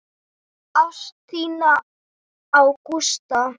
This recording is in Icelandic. Ást þína á Gústa.